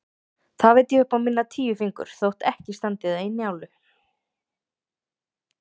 Það veit ég upp á mína tíu fingur, þótt ekki standi það í Njálu.